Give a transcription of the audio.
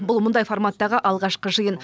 бұл мұндай форматтағы алғашқы жиын